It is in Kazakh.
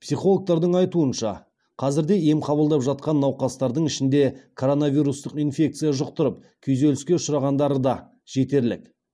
психологтардың айтуынша қазірде ем қабылдап жатқан науқастардың ішінде коронавирустық инфекция жұқтырып күйзеліске ұшырағандары да жетерлік